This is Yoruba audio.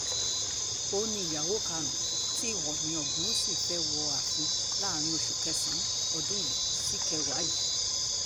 òun ni ìyàwó karùn-ún tí òòní ogunwúsì fẹ́ wọ ààfin láàrin oṣù kẹsàn-án ọdún yìí síkẹwàá yìí